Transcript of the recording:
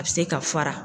A bɛ se ka fara